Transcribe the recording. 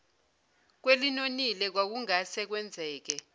kwelinonile kwakungase kwenzeke